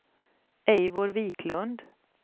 Eivor Viklund